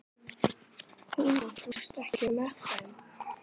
Húna, ekki fórstu með þeim?